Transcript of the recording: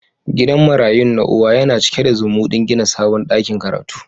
Gidan marayu na uwa yana cike da zumudin gina sabon dakin karatu.